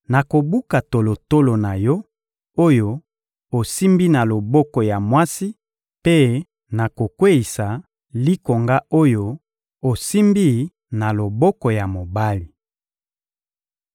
Nakobuka tolotolo na yo oyo osimbi na loboko ya mwasi mpe nakokweyisa likonga oyo osimbi na loboko ya mobali.